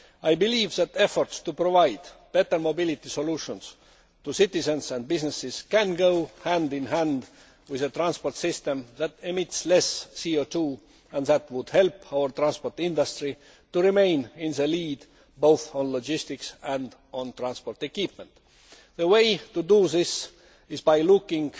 I believe that efforts to provide better mobility solutions to citizens and businesses can go hand in hand with a transport system that emits less CO 2 and that would help our transport industry to remain in the lead, both on logistics and on transport equipment. The way to do this is by looking